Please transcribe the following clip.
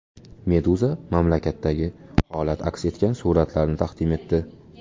Meduza mamlakatdagi holat aks etgan suratlarni taqdim etdi .